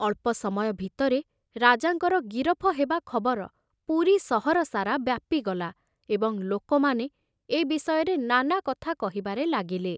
ଅଳ୍ପ ସମୟ ଭିତରେ ରାଜାଙ୍କର ଗିରଫ ହେବା ଖବର ପୁରୀ ସହର ସାରା ବ୍ୟାପିଗଲା ଏବଂ ଲୋକମାନେ ଏ ବିଷୟରେ ନାନା କଥା କହିବାରେ ଲାଗିଲେ।